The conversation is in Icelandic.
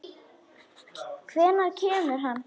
Hvenær kemur hann?